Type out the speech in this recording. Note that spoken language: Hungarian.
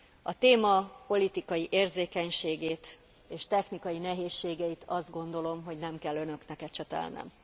A téma politikai érzékenységét és technikai nehézségeit azt gondolom, hogy nem kell önöknek ecsetelnem.